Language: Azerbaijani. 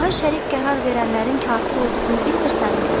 Allaha şərik qərar verənlərin kafir olduğunu bilmirsənmi?